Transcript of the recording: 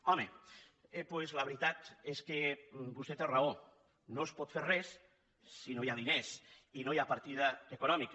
home doncs la veritat és que vostè té raó no es pot fer res si no hi ha diners i no hi ha partida econòmica